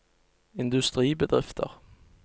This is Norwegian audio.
industribedrifter